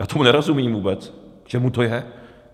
Já tomu nerozumím vůbec - k čemu to je?